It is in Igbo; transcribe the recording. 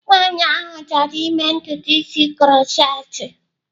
Nwaanyị ahụ chọrọ ịme ntutu isi krotchetị.